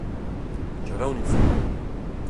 Čarovnica!